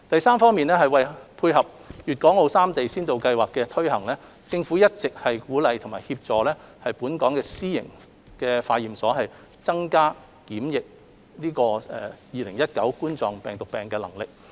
三為配合粵港澳三地先導計劃的推展，特區政府一直鼓勵和協助本港私營化驗所增加檢測2019冠狀病毒病的能力。